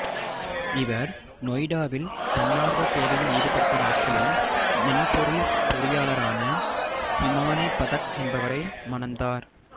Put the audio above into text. இவர் நொய்டாவில் தன்னார்வ சேவையில் ஈடுபட்ட நாட்களில் மென்பொருள் பொறியாளரான ஹிமானி பதக் என்பவரை மணந்தார்